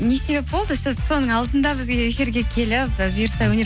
не себеп болды сіз соның алдында бізге эфирге келіп і бұйырса өнер